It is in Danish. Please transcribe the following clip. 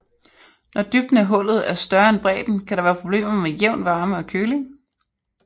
Når dybden af hullet er større end bredden kan der være problemer med jævn varme og køling